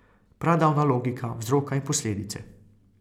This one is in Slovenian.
Pradavna logika vzroka in posledice.